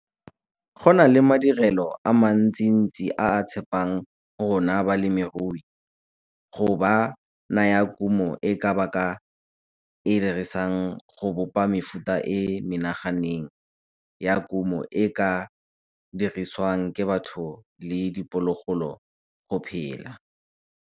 Go na le madirelo a mantsintsi a a tshepang rona balemirui go ba naya kumo e ba ka e dirisang go bopa mefuta e e menaganeng ya kumo e e ka dirisiwang ke batho le diphologolo go phela.